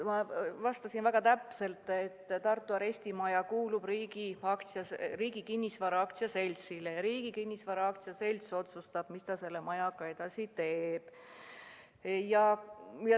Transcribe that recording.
Ma vastasin väga täpselt, et Tartu arestimaja kuulub Riigi Kinnisvara AS-ile ja Riigi Kinnisvara AS otsustab, mis ta selle majaga edasi teeb.